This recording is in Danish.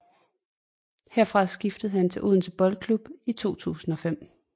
Herfra skiftede han til Odense Boldklub i 2005